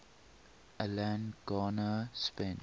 alan garner spent